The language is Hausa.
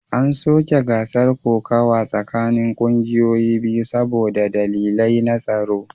An soke gasar kokawa tsakanin kungiyoyi biyu saboda dalilai na tsaro